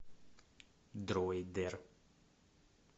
дройдер